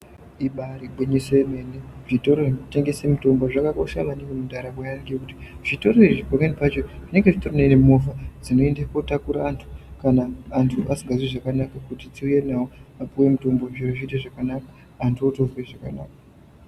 Ibarigwinyiso yemene zvitoro zvinotengese mitombo zvakakosha maningi mundaramo yevantu nekuti zvitori izvi pamweni pacho zvinenge zviine movha dzinoenda kunotakura antu kana asikazwi zvakanaka kuti vapiwe mitombo vanhu votozwa zvakanaka .